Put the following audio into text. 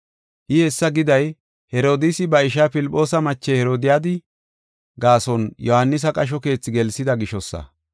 I hessa giday Herodiisi ba ishaa Filphoosa mache Herodiyadi gaason Yohaanisa qasho keethi gelsida gishosa.